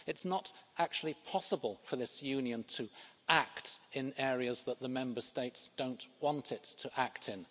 It's not actually possible for this Union to act in areas that the Member States don't want it to act in.